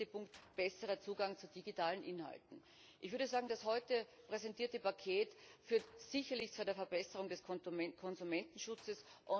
Der letzte Punkt Besserer Zugang zu digitalen Inhalten. Ich würde sagen, das heute präsentierte Paket führt sicherlich zu einer Verbesserung des Konsumentenschutzes.